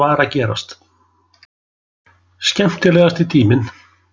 Skemmtilegasti tíminn?